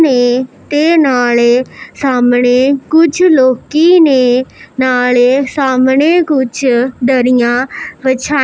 ਤੇ ਤੇ ਨਾਲੇ ਸਾਹਮਣੇ ਕੁਝ ਲੋਕੀ ਨੇ ਨਾਲੇ ਸਾਹਮਣੇ ਕੁਝ ਦਰੀਆਂ ਵਾਛਾਈ --